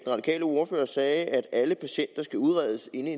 radikale ordfører sagde at alle patienter skal udredes inden